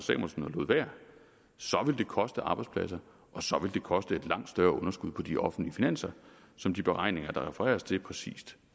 lod være så ville det koste arbejdspladser og så ville det koste et langt større underskud på de offentlige finanser som de beregninger der refereres til præcist